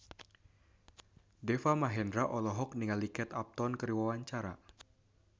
Deva Mahendra olohok ningali Kate Upton keur diwawancara